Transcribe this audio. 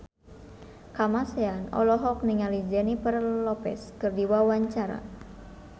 Kamasean olohok ningali Jennifer Lopez keur diwawancara